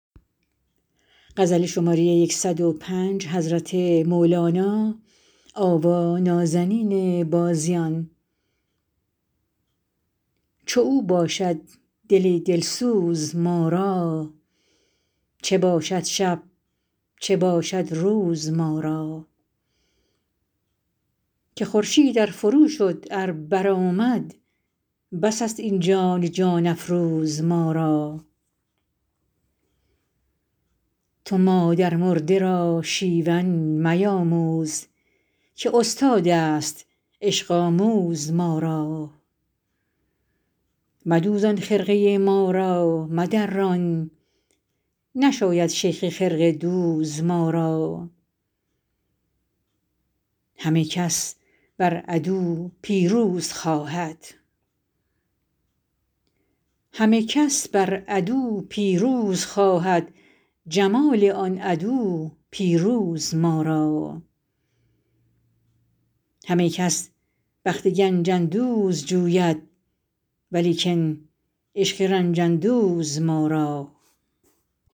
چو او باشد دل دل سوز ما را چه باشد شب چه باشد روز ما را که خورشید ار فروشد ار برآمد بس است این جان جان افروز ما را تو مادرمرده را شیون میآموز که استادست عشق آموز ما را مدوزان خرقه ما را مدران نشاید شیخ خرقه دوز ما را همه کس بر عدو پیروز خواهد جمال آن عدو پیروز ما را همه کس بخت گنج اندوز جوید ولیکن عشق رنج اندوز ما را